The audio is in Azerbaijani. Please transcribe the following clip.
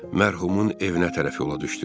Mərhumun evinə tərəf yola düşdü.